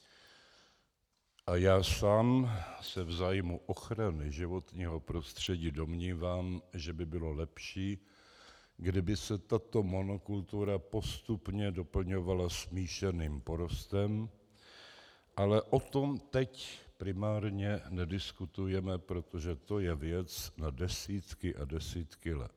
A já sám se v zájmu ochrany životního prostředí domnívám, že by bylo lepší, kdyby se tato monokultura postupně doplňovala smíšeným porostem, ale o tom teď primárně nediskutujeme, protože to je věc na desítky a desítky let.